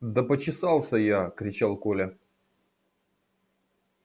да почесался я кричал коля